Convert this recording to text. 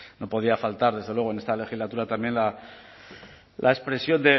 no podía faltar desde luego en esta legislatura también la expresión